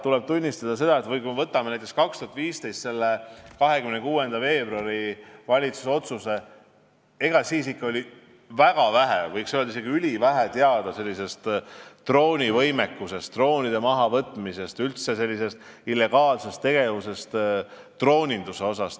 Tuleb tunnistada, kui me vaatame valitsuse 2015. aasta 26. veebruari otsust, et siis oli väga vähe, võiks öelda, isegi ülivähe teada droonivõimekusest, droonide mahavõtmisest, üldse illegaalsest tegevusest drooninduse vallas.